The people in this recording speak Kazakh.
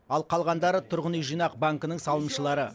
ал қалғандары тұрғын үй жинақ банкінің салымшылары